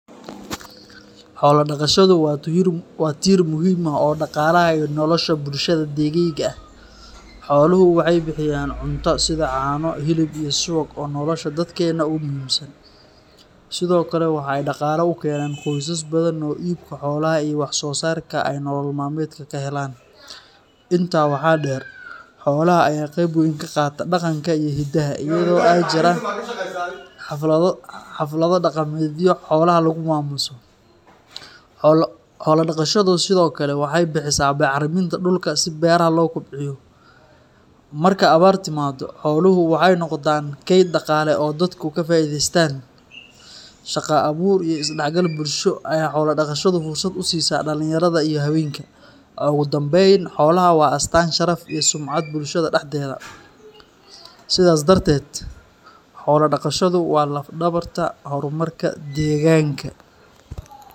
Xoolo-dhaqashadu waa tiir muhiim ah oo dhaqaalaha iyo nolosha bulshada deegaygayga ah. Xooluhu waxay bixiyaan cunto sida caano, hilib iyo subag oo nolosha dadkeenna aad ugu muhiimsan. Sidoo kale, waxay dhaqaale u keenaan qoysas badan oo iibka xoolaha iyo wax-soo-saarkooda ay nolol maalmeedka ka helaan. Intaa waxaa dheer, xoolaha ayaa qayb weyn ka qaata dhaqanka iyo hidaha, iyadoo ay jiraan xaflado dhaqameedyo xoolaha lagu maamuuso. Xoolo-dhaqashadu sidoo kale waxay bixisaa bacriminta dhulka si beeraha loo kobciyo. Marka abaar timaaddo, xooluhu waxay noqdaan kayd dhaqaale oo dadku ka faa’iidaystaan. Shaqo abuur iyo is-dhexgal bulsho ayay xoolo-dhaqashadu fursad u siisaa dhalinyarada iyo haweenka. Ugu dambayn, xoolaha waa astaan sharaf iyo sumcad bulshada dhexdeeda. Sidaas darteed, xoolo-dhaqashadu waa laf-dhabarta horumarka deegaanka